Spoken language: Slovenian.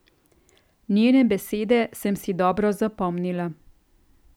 Njene besede sem si dobro zapomnila.